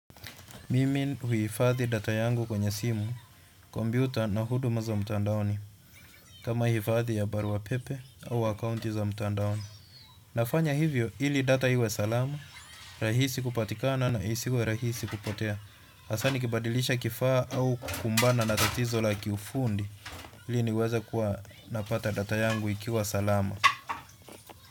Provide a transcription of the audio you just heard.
Mimi huhifadhi data yangu kwenye simu, kompyuta na huduma za mtandaoni. Kama hifadhi ya barua pepe au akaunti za mtandaoni. Nafanya hivyo ili data iwe salama, rahisi kupatikana na isiwe rahisi kupotea. Hasa nikibadilisha kifaa au kukumbana na tatizo la kiufundi. Ili niweze kuwa napata data yangu ikiwa salama.